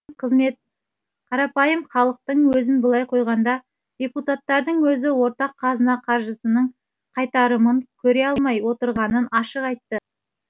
қарапайым халықтың өзін былай қойғанда депутаттардың өзі ортақ қазына қаржысының қайтарымын көре алмай отырғанын ашық айтты